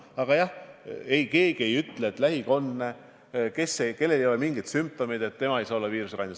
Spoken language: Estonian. Aga jah, keegi ei ütle, et lähikondne, kellel pole mingeid sümptomeid, ei saa olla viirusekandja.